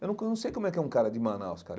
Eu não sei como é que é um cara de Manaus, cara.